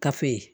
Kafe